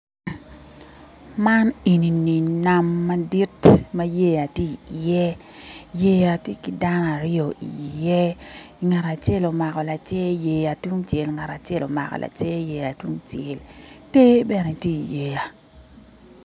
Man enini nam madit ma yeya tye iye yeya tye ki dano aryo iye ngat acel omako lacer yeya tungcel ngat acel omako lacer yeya tungcel te bene tye yeya.